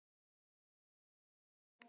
Ég hef ekki prjónað í hundrað ár.